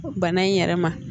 Bana in yɛrɛ ma